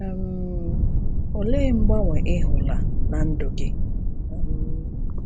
um Olee mgbanwe ị hụla na ndụ gị? um